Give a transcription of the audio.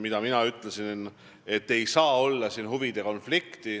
Ma olen öelnud, et siin ei saa olla huvide konflikti.